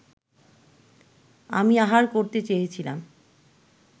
আমি আহার করতে চেয়েছিলাম